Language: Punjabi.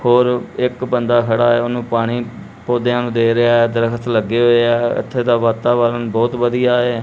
ਔਰ ਇੱਕ ਬੰਦਾ ਖੜਾ ਐ ਉਹਨੂੰ ਪਾਣੀ ਪੌਧਿਆਂ ਨੂੰ ਦੇ ਰਿਹਾ ਐ ਦਰਖਤ ਲੱਗੇ ਹੋਏ ਆ ਇੱਥੇ ਤਾਂ ਵਾਤਾਵਰਨ ਬਹੁਤ ਵਧੀਆ ਏ।